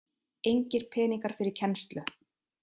Engir peningar fyrir kennslu